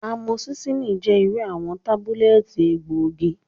Amosillini jẹ iru awọn tabulẹti egboogi.